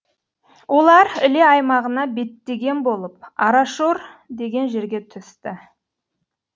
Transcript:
олар іле аймағына беттеген болып арашор деген жерге түсті